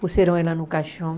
Puseram ela no caixão.